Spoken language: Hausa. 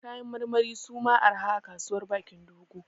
Kayan marmari su ma arha a Kasuwar Bakin Dogo